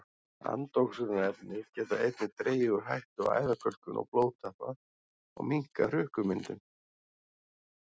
Andoxunarefni geta einnig dregið úr hættu á æðakölkun og blóðtappa og minnkað hrukkumyndun.